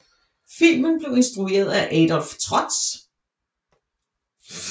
Filmen blev instrueret af Adolf Trotz